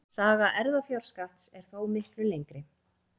Saga erfðafjárskatts er þó miklu lengri.